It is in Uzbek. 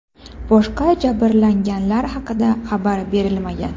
Boshqa jabranganlar haqida xabar berilmagan.